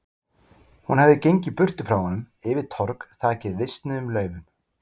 Hún hafði gengið burtu frá honum, yfir torg þakið visnuðum laufum.